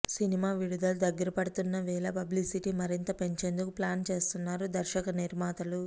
cinema విడుదల దగ్గరపడుతున్న వేళ పబ్లిసిటీ మరింత పెంచేందుకు ప్లాన్ చేస్తున్నారు దర్శక నిర్మాతలు